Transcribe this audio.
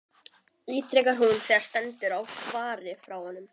ítrekar hún þegar stendur á svari frá honum.